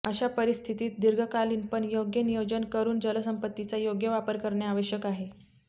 अशा परिस्थितीत दीर्घकालीन पण योग्य नियोजन करून जलसंपत्तीचा योग्य वापर करणे आवश्यक आहे